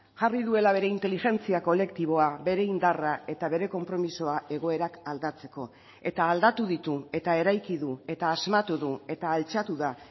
jarri duela bere inteligentzia kolektiboa bere indarra eta bere konpromisoa egoerak aldatzeko eta aldatu ditu eta eraiki du eta asmatu du eta altxatu da